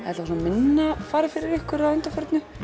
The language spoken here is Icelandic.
alla vega minna farið fyrir ykkur að undanförnu